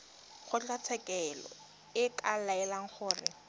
kgotlatshekelo e ka laela gore